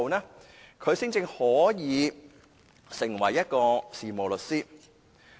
兩年後，他才可以成為事務律師。